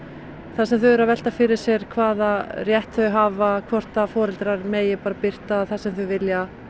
þar sem þau eru að velta fyrir sér hvaða rétt þau hafa hvort foreldrar megi birta það sem þau vilja